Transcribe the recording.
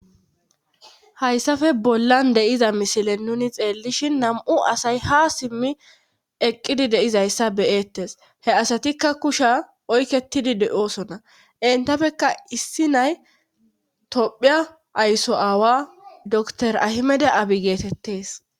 Hayssafe bollan deiza misile nuni xeellishin nam'u asay ha simmi eqqidi deizayssa beyettes he asatikka kusha oykketidi de7oosona entapekka issi nay tophiya aysso aawa dor ahimede abi geetettes.